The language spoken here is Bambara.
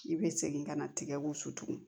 I bɛ segin ka na tigɛ ko su